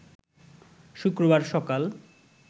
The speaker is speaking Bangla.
শুক্রবার সকাল